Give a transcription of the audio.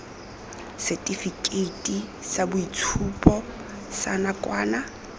setifikeiti sa boitshupo sa nakwana